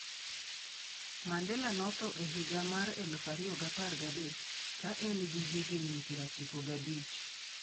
Mandela notho e higa mar 2013 ka en gi higni 95.